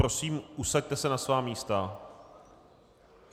Prosím, usaďte se na svá místa.